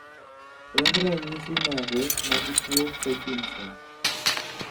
en ranyisi mage mag tuo paekinson?